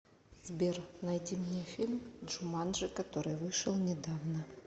сбер найди мне фильм джуманджи который вышел недавно